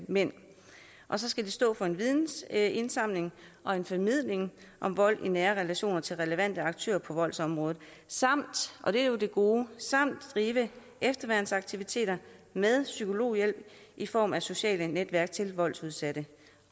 mænd så skal den stå for en vidensindsamling og en formidling om vold i nære relationer til relevante aktører på voldsområdet samt det er jo det gode drive efterværnsaktiviteter med psykologhjælp i form af sociale netværk til voldsudsatte